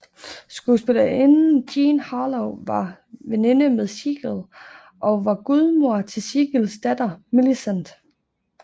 Skuespillerinden Jean Harlow var veninde med Siegel og var gudmoder til Siegels datter Millicent